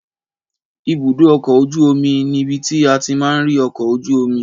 Ìbúdò ọkọ òjú òmí nibiti àtí mà ri ọkọ òjú òmí